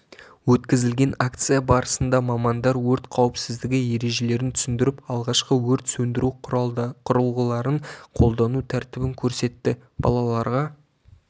өткізілген акция барысында мамандар өрт қауіпсіздігі ережелерін түсіндіріп алғашқы өрт сөндіру құрылғыларын қолдану тәртібін көрсетті балаларға